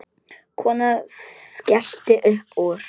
Konan skellti upp úr.